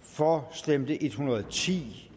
for stemte en hundrede og ti